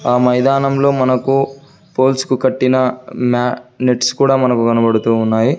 ఆ మైదానంలో మనకు పోల్స్ కు కట్టిన న్యా నెట్స్ కూడా మనకు కనబడుతూ ఉన్నాయి.